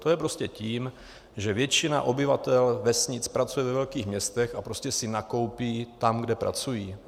To je prostě tím, že většina obyvatel vesnic pracuje ve velkých městech a prostě si nakoupí tam, kde pracují.